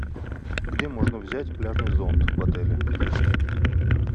где можно взять пляжный зонт в отеле